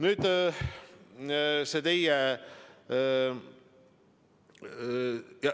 Nüüd, see teie ...